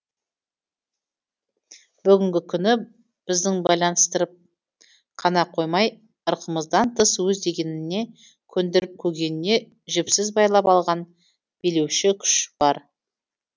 бүгінгі күні біздің байланыстырып қана қоймай ырқымыздан тыс өз дегеніне көндіріп көгеніне жіпсіз байлап алған билеуші күш бар